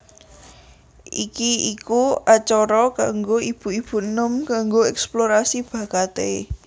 Iki iku acara kanggo ibu ibu enom kanggo eksplorasi bakaté